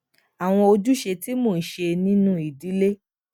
àwọn ojúṣe tí mò ń ṣe nínú ìdílé